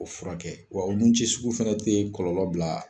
O furakɛ, wa o ni cɛ sugu fɛnɛ tɛ kɔlɔlɔbila.